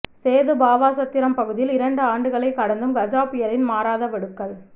சேதுபாவாசத்திரம் பகுதியில் இரண்டு ஆண்டுகளை கடந்தும் கஜா புயலின் மாறாத வடுக்கள்